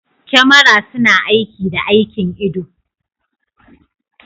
Kyamara suna aiki da aikin ido.